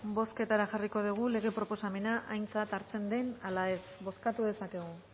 bozketara jarriko dugu lege proposamena aintzat hartzen den ala ez bozkatu dezakegu